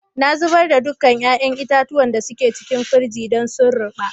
Na zubar da dukan yayan itatuwan da da suke cikin firiji dan sun ruba.